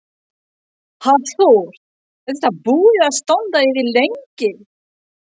Hafþór: Er þetta búið að standa yfir lengi?